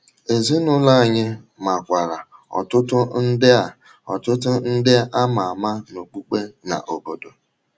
Ezinụlọ anyị makwaara ọtụtụ ndị a ọtụtụ ndị a ma ama n’okpukpe na n’obodo.